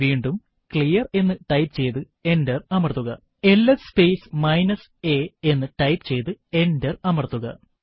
വീണ്ടും ക്ലിയർ എന്ന് ടൈപ്പ് ചെയ്തു എന്റർ അമർത്തുക എൽഎസ് സ്പേസ് മൈനസ് a എന്ന് ടൈപ്പ് ചെയ്തു എന്റർ അമർത്തുക